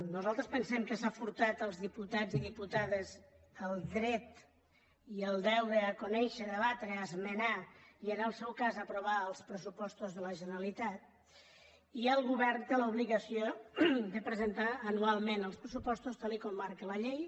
nosaltres pensem que s’ha furtat als diputats i diputades el dret i el deure a conèixer debatre esmenar i en el seu cas aprovar els pressupostos de la generalitat i el govern té l’obligació de presentar anualment els pressupostos tal com marca la llei